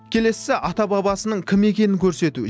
келесісі ата бабасының кім екенін көрсету